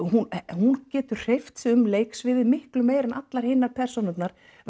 hún hún getur hreyft sig um leiksviðið miklu meira en allar hinar persónurnar